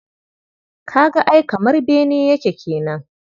Ka ga ai kamar bene yake kenan.